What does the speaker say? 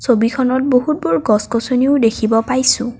ছবিখনত বহুতবোৰ গছ-গছনিও দেখিব পাইছোঁ।